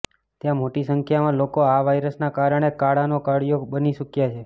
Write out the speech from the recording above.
ત્યાં મોટી સંખ્યામાં લોકો આ વાયરસના કારણે કાળનો કોળિયો બની ચૂક્યા છે